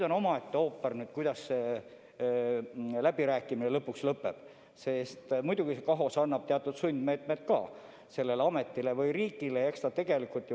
On omaette ooper, kuidas läbirääkimine lõpuks lõpeb, sest KAHOS ikkagi annab sellele ametile või riigile teatud reeglid ette.